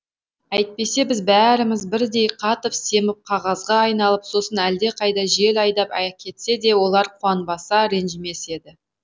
әйтпесе біз бәріміз бірдей қатып семіп қағазға айналып сосын әлдеқайда жел айдап әкетсе де олар қуанбаса ренжімес еді